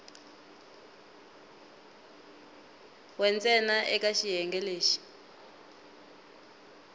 we ntsena eka xiyenge lexi